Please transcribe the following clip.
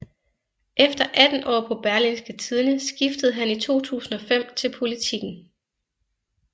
Efter 18 år på Berlingske Tidende skiftede han i 2005 til Politiken